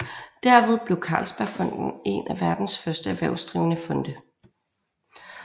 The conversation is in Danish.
Derved blev Carlsbergfondet en af verdens første erhvervsdrivende fonde